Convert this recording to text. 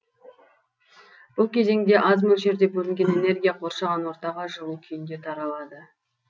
бұл кезеңде аз мөлшерде бөлінген энергия қоршаған ортаға жылу күйінде таралады